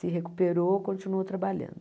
Se recuperou, continuou trabalhando.